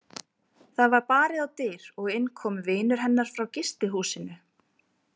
Það var barið á dyr og inn kom vinur hennar frá gistihúsinu.